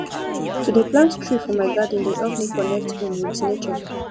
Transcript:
to dey plant tree for my garden dey help me connect um wit nature